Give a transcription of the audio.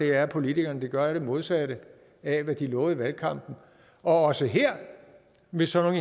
er at politikerne gør det modsatte af hvad de lovede i valgkampen og også her vil sådan